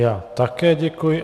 Já také děkuji.